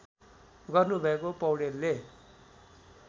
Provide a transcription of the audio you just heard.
गर्नु भएका पैाडेलले